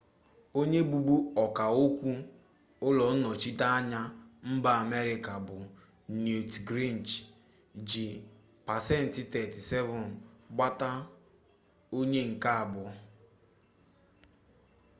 onye bụbu ọkaokwu ụlọnnọchiteanya mba amerịka bụ newt gingrich ji pasentị 32 gbata onye nke abụọ